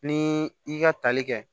Ni i ka tali kɛ